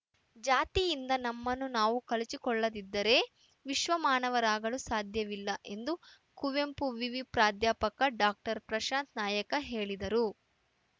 ಜಾತಿಯಿಂದ ನಮ್ಮನ್ನು ನಾವು ಕಳಚಿಕೊಳ್ಳದಿದ್ದರೇ ವಿಶ್ವಮಾನವರಾಗಲು ಸಾಧ್ಯವಿಲ್ಲ ಎಂದು ಕುವೆಂಪು ವಿವಿ ಪ್ರಾಧ್ಯಾಪಕ ಡಾಕ್ಟರ್ ಪ್ರಶಾಂತ ನಾಯಕ ಹೇಳಿದರು